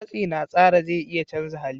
Matsi na tsara zai iya canza hali.